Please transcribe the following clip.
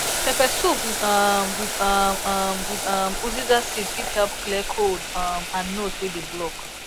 pepper soup um with um um with um uziza seed fit help clear cold um and nose wey dey block